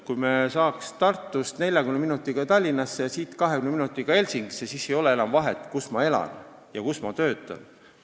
Kui me saaksime Tartust 40 minutiga Tallinnasse ja siit 20 minutiga Helsingisse, siis ei oleks enam vahet, kus elada ja kus töötada.